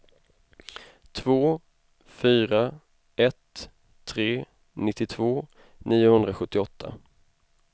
två fyra ett tre nittiotvå niohundrasjuttioåtta